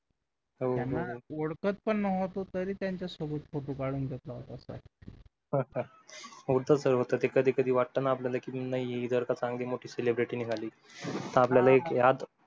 हो त्यांना ओळखत पण नव्हतो तरी त्यांच्यासोबत photo काढून घेतला होता होता होतं sir होतं कधी कधी वाटतं आपल्याला की नाही जर का चांगली मोठी celebrity निघाली तर आपला एक यात